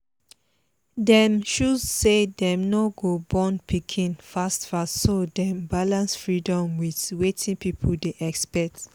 dem choose say dem no go born pikin fast fast so dem balance freedom with wetin people dey expect